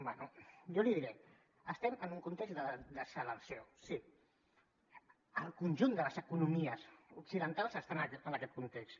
bé jo li diré estem en un context de desacceleració sí el conjunt de les economies occidentals estan en aquest context